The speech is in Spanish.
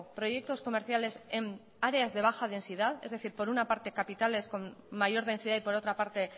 proyectos comerciales en áreas de baja densidad es decir por una parte capitales con mayor densidad y por otra parte